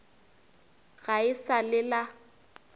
ga e sa le la